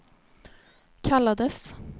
kallades